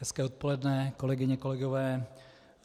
Hezké odpoledne, kolegyně, kolegové.